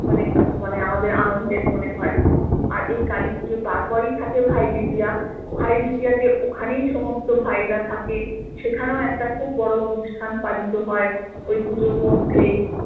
মানে আমাদের আনন্দের মনে হয় আর এই কালী পুজোর তারপরেই থাকে ভাই দ্বিতীয়া ভাই দ্বিতীয়া তে ওখানেই সমস্ত ভাই রা থাকে সেখানেও একটা খুব বড় একটা অনুষ্ঠান পালিত হয় ওই পুজোর মধ্যেই